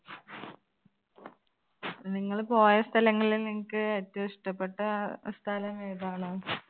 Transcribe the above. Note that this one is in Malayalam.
നിങ്ങള് പോയ സ്ഥലങ്ങളിൽ നിങ്ങൾക്ക് ഏറ്റവും ഇഷ്ടപെട്ട അഹ് സ്ഥലം ഏതാണ്?